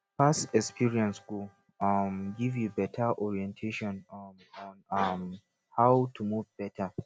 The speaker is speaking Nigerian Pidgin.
past experience go um giv yu beta orientation um on um how to move beta